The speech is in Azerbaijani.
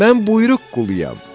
Mən buyruq quluyam.